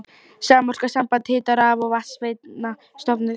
Samorka, samband hita-, raf- og vatnsveitna, stofnuð.